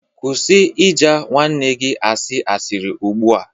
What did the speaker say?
Kwụsị ịja nwanne gị asị sirị ugbu a